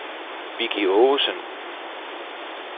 Vicki Aagesen